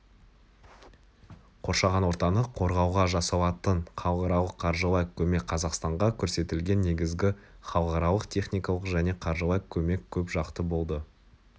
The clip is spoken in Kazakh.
қоршаған ортаны қорғауға жасалатын халықаралық қаржылай көмек қазақстанға көрсетілген негізгі халықаралық техникалық және қаржылай көмек көп жақты болды